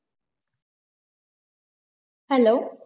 hello